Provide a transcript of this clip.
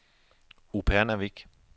Upernavik